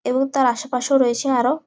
এবং তার আশেপাশে রয়েছে আরো--